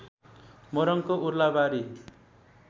मोरङको Urlabari